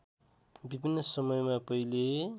विभिन्न समयमा पहिले